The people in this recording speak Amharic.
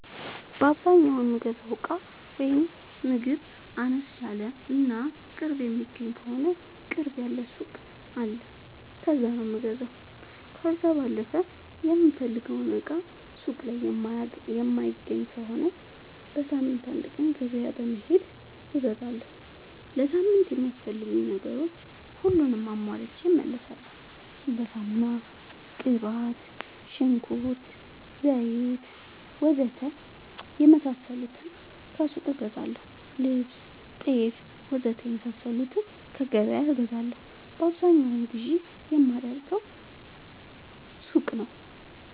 በአዛኛው የምገዛው እቃ ወይም ምግብ አነስ ያለ እና ቅርብ የሚገኝ ከሆነ ቅርብ ያለ ሱቅ አለ ከዛ ነው የምገዛው። ከዛ ባለፈ የምፈልገውን እቃ ሱቅ ላይ የማይገኝ ከሆነ በሳምንት አንድ ቀን ገበያ በመሄድ እገዛለሁ። ለሳምንት የሚያስፈልጉኝ ነገሮች ሁሉንም አሟልቼ እመለሣለሁ። እንደ ሳሙና፣ ቅባት፣ ሽንኩርት፣ ዘይት,,,,,,,,, ወዘተ የመሣሠሉትን ከሱቅ እገዛለሁ። ልብስ፣ ጤፍ,,,,,,,,, ወዘተ የመሣሠሉትን ከገበያ እገዛለሁ። በአብዛኛው ግዢ የማደርገው ሱቅ ነው።